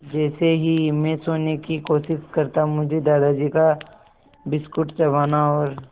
जैसे ही मैं सोने की कोशिश करता मुझे दादाजी का बिस्कुट चबाना और